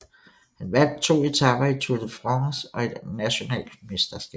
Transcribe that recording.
Han vandt 2 etaper i Tour de France og et national mesterskab